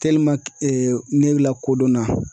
ne lakodɔnna.